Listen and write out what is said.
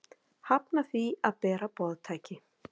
Hafna því að bera boðtæki